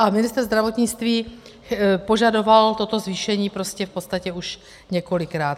A ministr zdravotnictví požadoval toto zvýšení prostě v podstatě už několikrát.